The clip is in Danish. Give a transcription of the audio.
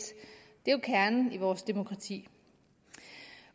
det er jo kernen i vores demokrati